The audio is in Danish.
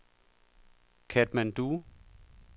Katmandu